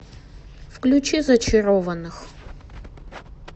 включи зачарованных